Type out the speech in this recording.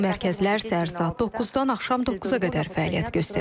Bu mərkəzlər səhər saat 9-dan axşam 9-a qədər fəaliyyət göstərəcək.